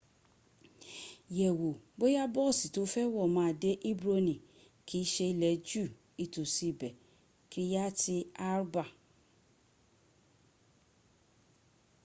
yẹ̀wò bóya boosi to fẹ́ wọ̀ ma dé hebroni kii ṣe ilẹ̀ ju itosi ibe kiriyati arba